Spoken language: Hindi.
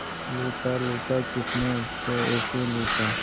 लूटा लूटा किसने उसको ऐसे लूटा